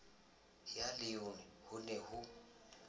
ya leon ho ne ho